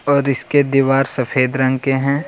और इसके दीवार सफेद रंग के हैं।